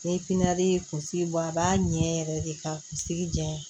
Ni ye kunsigi bɔ a b'a ɲɛ yɛrɛ de ka kunsigi janya